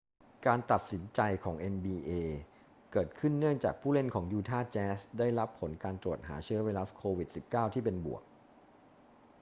การตัดสินใจของ nba เกิดขึ้นเนื่องจากผู้เล่นของยูทาห์แจ๊สได้รับผลการตรวจหาเชื้อไวรัส โควิด-19 ที่เป็นบวก